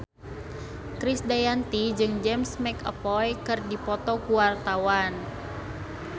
Krisdayanti jeung James McAvoy keur dipoto ku wartawan